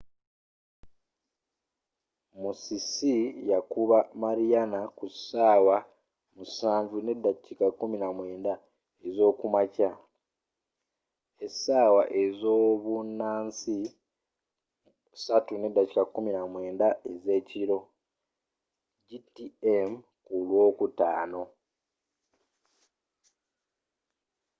musisi yakuba mariana ku 07:19 ez'okumakya esawa ezobunansi 09:19 p.m. gmt ku lw'okutaano